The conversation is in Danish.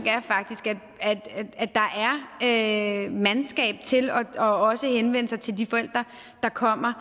er faktisk at der er mandskab til også at henvende sig til de forældre der kommer